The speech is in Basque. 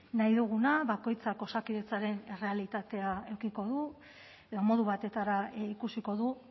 nahi duguna bakoitzak osakidetzaren errealitatea edukiko du edo modu batetara ikusiko du